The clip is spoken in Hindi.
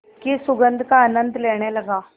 की सुगंध का आनंद लेने लगा